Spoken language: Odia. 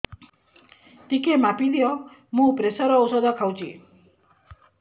ଟିକେ ମାପିଦିଅ ମୁଁ ପ୍ରେସର ଔଷଧ ଖାଉଚି